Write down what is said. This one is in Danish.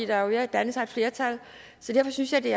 der er jo ved at danne sig et flertal så derfor synes jeg det